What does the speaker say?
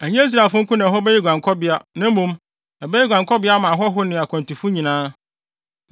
Ɛnyɛ Israelfo nko na ɛhɔ bɛyɛ wɔn guankɔbea, na mmom, ɛbɛyɛ guankɔbea ama ahɔho ne akwantufo nyinaa.